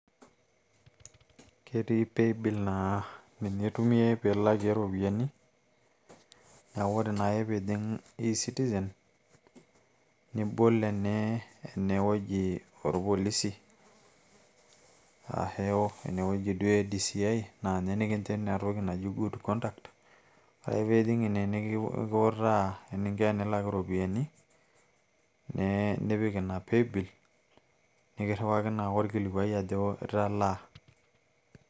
ketii paybill naa ninye eitumiai piilakie iropiyiani neeku ore naake piijing e citizen nibol enewueji oorpolisi aashu enewueji duo e DCI naa ninye nikincho ina toki naji good conduct ore ake piijing ine nikiutaa eninko enilak iropiyiani nee nipik ina paybill nikirriwaki naake orkilikuai ajo italaa.